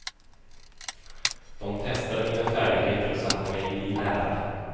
De testade mina färdigheter och satte mig i lära.